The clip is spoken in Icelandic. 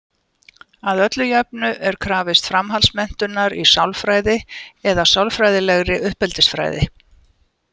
Að öllu jöfnu er krafist framhaldsmenntunar í sálfræði eða sálfræðilegri uppeldisfræði.